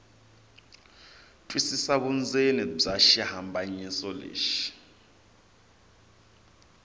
twisisa vundzeni bya xihlambanyiso lexi